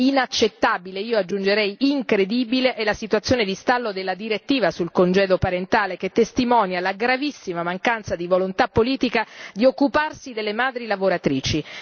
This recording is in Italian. Inaccettabile, e aggiungerei incredibile, è la situazione di stallo della direttiva sul congedo parentale, che testimonia la gravissima mancanza di volontà politica di occuparsi delle madri lavoratrici.